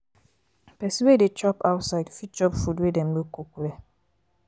pesin wey dey chop outside fit chop food wey dem no cook well.